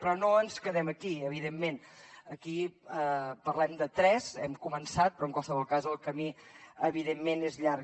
però no ens quedem aquí evidentment aquí parlem de tres hem començat però en qualsevol cas el camí evidentment és llarg